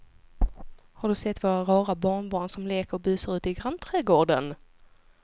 Har du sett våra rara barnbarn som leker och busar ute i grannträdgården!